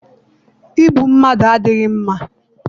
Igbu mmadụ adịghị mma.